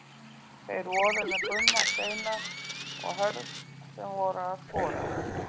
Þeir voru með Gumma Steinars og Hörð sem voru að skora.